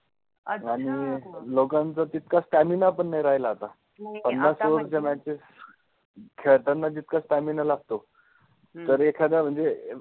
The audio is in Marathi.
अच्छा! आणि लोकांचा तितका stamina पण नाही राहिला आता. नाही आता पन्नास over च्या matches खेळताना जितका stamina लागतो. जर एखादा म्हणजे